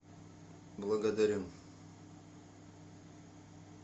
благодарю